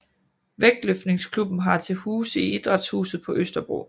Vægtløftningsklubben har til huse i Idrætshuset på Østerbro